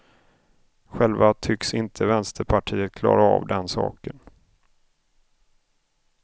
Själva tycks inte vänsterpartiet klara av den saken.